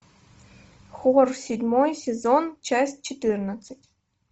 хор седьмой сезон часть четырнадцать